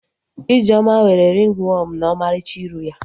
Ijeoma nwere ringi wọọmụ na ọmarịcha iru ya